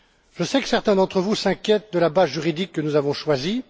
Je sais que certains d'entre vous s'inquiètent de la base juridique que nous avons choisie.